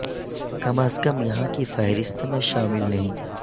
کم از کم یہاں کی فہرست میں شامل نہیں